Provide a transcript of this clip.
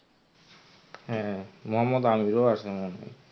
হ্যাঁ মোহাম্মদ আমির ও আসলো না.